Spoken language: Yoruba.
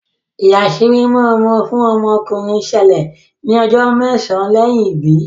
ìyàsímímọ ọmọ fún ọmọ ọkunrin ṣẹlẹ ní ojó mésàn lẹyìn ibí